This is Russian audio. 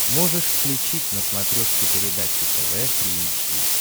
можешь включить на смотрешке передачу тв три эйч ди